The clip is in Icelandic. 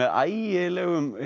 ægilegum